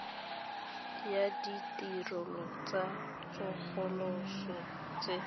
ya ditirelo tsa tsosoloso tse